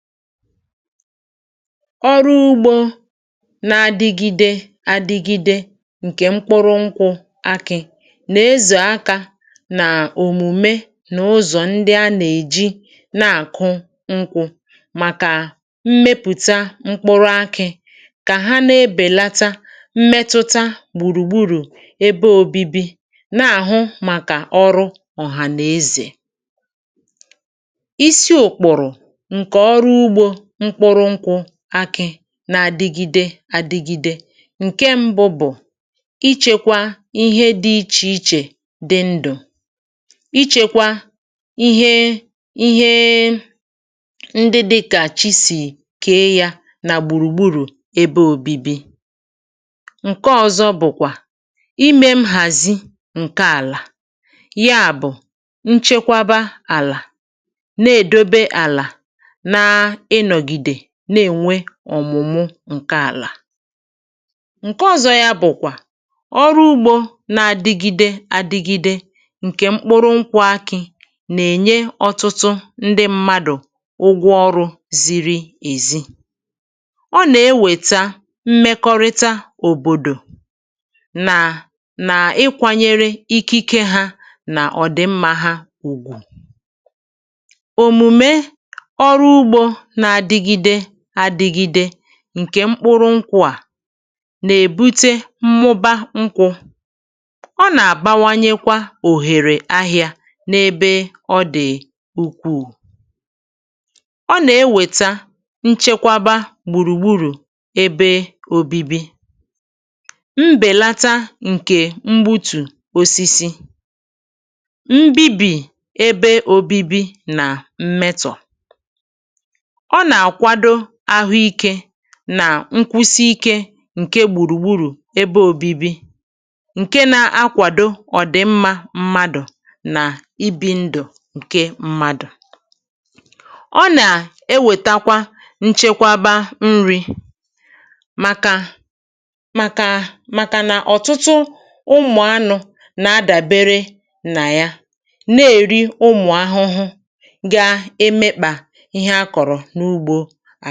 Ọrụ ugbȯ na-adịgide adịgide ǹkè mkpụrụ nkwụ̇ akị̇ nà-ezu akȧ nà òmùme nà ụzọ̀ ndị a nà-èji na-àkụ mkpụrụ nkwụ̇ màkà mmepụ̀ta mkpụrụ akị̇ kà ha na-ebèlata mmetụta gbùrùgbùrù ebe òbibi, na-àhụ màkà ọrụ ọ̀hànàezè. Isi ụkpụrụ nke ọrụ ugbo mkpụrụ nkwụ akị na-adịgide adịgide, ǹke ṁbụ̇ bụ̀ ichėkwȧ ihe dị̇ ichè ichè dị ndụ̀, ichėkwa ihe ihe ndị dịkà chi sì kee yȧ nà gbùrùgburù ebe òbibi. Nke ọ̇zọ̇ bụ̀kwà imė m hàzi ǹke àlà, ya bụ̀, nchekwaba àlà, na-èdobe àlà na-ịnọgide na-enwe ọmụmụ nke ala. Nke ọ̀zọ yȧ bụ̀kwà ọrụ ugbȯ na-adịgide adịgide ǹkè mkpụrụ nkwụ̇ akị̇ nà-ènye ọtụtụ ndị mmadụ̀ ụgwọ ọrụ̇ ziri èzi. Ọ nà-ewèta mmekọrịta òbòdò nà nà ịkwȧnyere ikike hȧ nà ọ̀dị̀mmȧ hȧ ùgwù. Omume ọrụ ugbo na-adịgide adịgide ǹkè mkpụrụ nkwụ à nà-èbute mmụba nkwụ, ọ nà-àbawanyekwa òhèrè ahịa n’ebe ọ dị̀ ukwuù. Ọ nà-ewèta nchekwaba gbùrùgburu̇ ebe òbibi, mbèlata ǹkè mgbutù osisi, mbibi ebe òbibi nà mmetọ̀. Ọ na-akwado ahụike nà nkwụsị ike ǹke gbùrùgburù ebe òbibi ǹke na-akwàdo ọ̀dị̀mmȧ mmadụ̀ nà ibi̇ ndụ̀ ǹke mmadụ̀. Ọ nà-ewèta nchekwaba nri̇ màkà màkà màkànà ọ̀tụtụ ụmụ̀ anụ̇ nà-adàbere nà ya na-èri ụmụ̀ ahụhụ ga-emekpà ihe a kọ̀rọ̀ n’ugbo.